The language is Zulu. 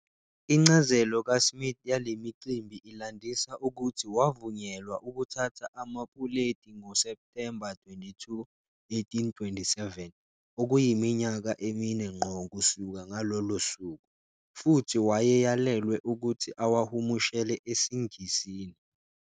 Incazelo kaSmith yale micimbi ilandisa ukuthi wavunyelwa ukuthatha amapuleti ngoSepthemba 22, 1827, okuyiminyaka emine ngqo kusuka ngalolo suku, futhi wayeyalelwe ukuthi awahumushele esiNgisini.